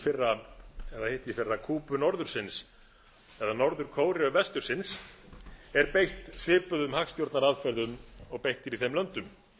fyrra eða hittiðfyrra kúbu norðursins eða norður kóreu vestursins er beitt svipuðum hagstjórnaraðferðum og beitt er í þeim löndum